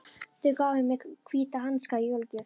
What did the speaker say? Þau gáfu mér hvíta hanska í jólagjöf.